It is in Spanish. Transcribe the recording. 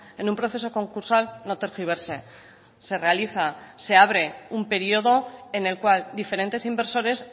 en un proceso concursal no tergiverse se realiza se abre un periodo en el cual diferentes inversores